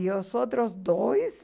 E os outros dois...